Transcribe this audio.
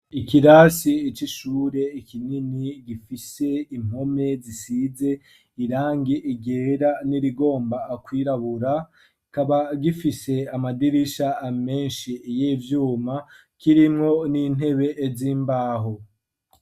Ikirasi icoishure ikinini gifise impome zisize irange igera n'irigomba akwirabura kaba gifise amadirisha amenshi yo ivyuma kirimwo n'intebe ez' imbaho.